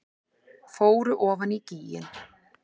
Fóru ofan í gíginn